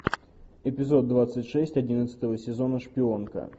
эпизод двадцать шесть одиннадцатого сезона шпионка